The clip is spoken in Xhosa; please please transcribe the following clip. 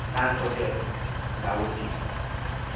nantso ke lawundini